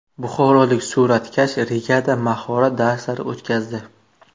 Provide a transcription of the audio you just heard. Buxorolik suratkash Rigada mahorat darslari o‘tkazdi.